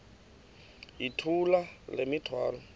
yithula le mithwalo